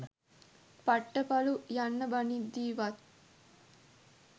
පට්ට පලු යන්න බනිද්දි වත්